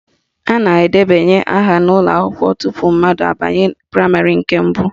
A na-edebanye aha n'ụlọakwụkwọ tupu mmadụ abanye praịmarị nke mbụ